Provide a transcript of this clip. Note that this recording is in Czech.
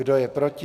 Kdo je proti?